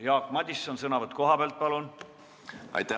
Jah, Jaak Madison, sõnavõtt kohalt, palun!